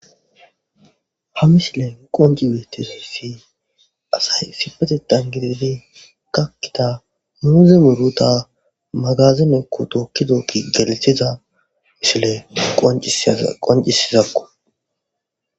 ha misile qonci weettizossi asay sipetetan gididi kakkita muuze muruta magazinekko tookkidookki gelithiza mishile qoncisizakko